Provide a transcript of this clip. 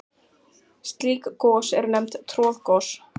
Slík gos eru nefnd troðgos.